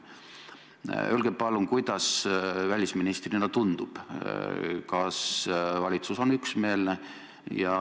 Öelge palun, kuidas teile välisministrina tundub, kas valitsus on üksmeelne.